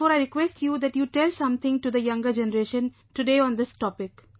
Therefore I request you that you tell something to the younger generation today on this topic